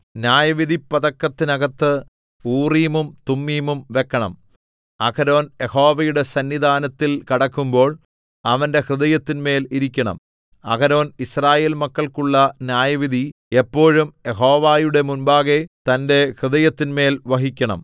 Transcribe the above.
ന്യായവിധിപ്പതക്കത്തിനകത്ത് ഊറീമും തുമ്മീമും വെക്കണം അഹരോൻ യഹോവയുടെ സന്നിധാനത്തിൽ കടക്കുമ്പോൾ അവന്റെ ഹൃദയത്തിന്മേൽ ഇരിക്കണം അഹരോൻ യിസ്രായേൽമക്കൾക്കുള്ള ന്യായവിധി എപ്പോഴും യഹോവയുടെ മുമ്പാകെ തന്റെ ഹൃദയത്തിന്മേൽ വഹിക്കണം